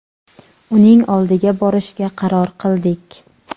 uning oldiga borishga qaror qildik.